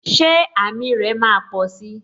Ṣé àmì rè máa posi?